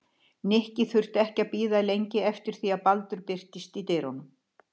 Nikki þurfti ekki að bíða lengi eftir því að Baldur birtist í dyrunum.